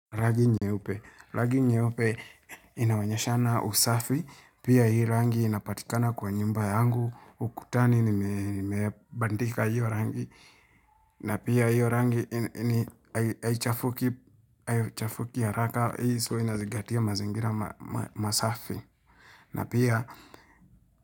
Rangi nyeupe inawanyesha na usafi pia hii rangi inapatikana kwa nyumba yangu ukutani nimibandika hiyo rangi na pia hiyo rangi haichafuki haraka hii so inazingatia mazingira masafi na pia.